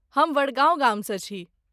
हम वडगाँव गामसँ छी।